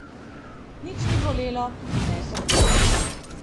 Nič ni bolelo ne srbelo.